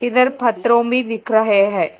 इधर पत्थरों भी दिख रहे है।